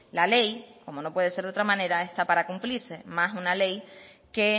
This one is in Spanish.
la ley como no puede ser de otra manera está para cumplirse más una ley que